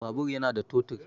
Babur yana da totur